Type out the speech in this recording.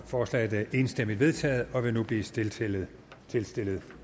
forslaget er enstemmigt vedtaget og vil nu blive tilstillet tilstillet